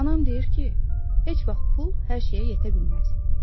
Anam deyir ki, heç vaxt pul hər şeyə yetə bilməz.